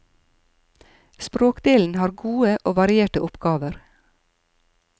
Språkdelen har gode og varierte oppgaver.